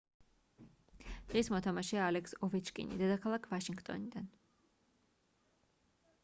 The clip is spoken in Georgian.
დღის მოთამაშეა ალექს ოვეჩკინი დედაქალაქ ვაშინგტონიდან